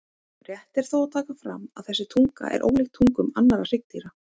Rétt er þó að taka fram að þessi tunga er ólíkt tungum annarra hryggdýra.